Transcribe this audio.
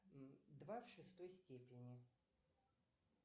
два в шестой степени